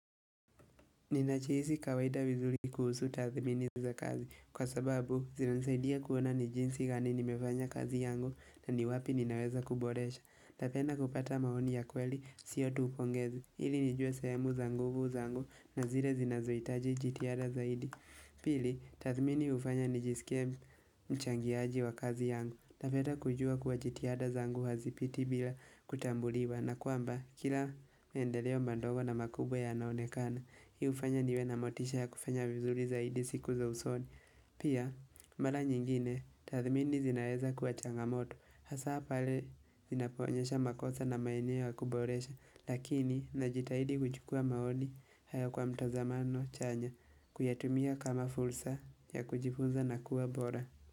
Ninajihisi kawaida vizuri kuhusu tathmini za kazi kwa sababu zinanisaidia kuona ni jinsi gani nimefanya kazi yangu na ni wapi ninaweza kuboresha na tena kupata maoni ya kweli sio tu upongezi ili nijue sehemu za nguvu zangu na zile zinazohitaji jitihada zaidi Pili tathmini hufanya nijisikia mchangiaji wa kazi yangu. Napenda kujua kuwa jitihada zangu hazipiti bila kutambuliwa na kwamba kila maendeleo madogo na makubwa yanaonekana. Hii hufanya niwe na motisha ya kufanya vizuri zaidi siku za usoni Pia, mara nyingine, tathmini zinaeza kuwa changamoto. Hasaa pale, zinapoonyesha makosa na maeneo ya kuboresha. Lakini, najitahidi kuchukua maoni hayo kwa mtazamano chanya kuyatumia kama fursa ya kujifunza na kuwa bora.